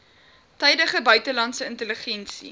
tydige buitelandse intelligensie